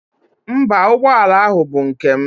Mba, ụgbọala ahụ bụ nke m.